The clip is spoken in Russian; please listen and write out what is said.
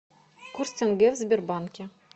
курс тенге в сбербанке